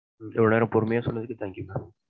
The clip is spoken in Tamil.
இவளோ நேரம் பொறுமையா சொன்னதுக்கு thank you ma'am.